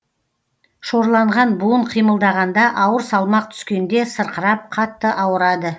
шорланған буын қимылдағанда ауыр салмақ түскенде сырқырап қатты ауырады